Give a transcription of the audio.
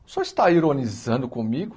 O senhor está ironizando comigo?